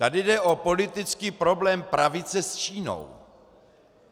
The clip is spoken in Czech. Tady jde o politický problém pravice s Čínou.